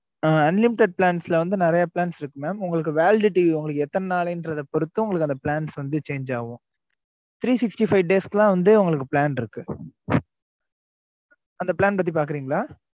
ஆ unlimited plans ல வந்து நிறைய plans இருக்கு mam உங்களுக்கு validity எத்தனை நாள் பொறுத்து அந்த plans வந்து change ஆகும் t three sixty five days க்குலாம் plan இருக்கு அந்த பத்தி பாக்குறீங்களா